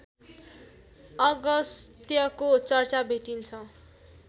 अगस्त्यको चर्चा भेटिन्छ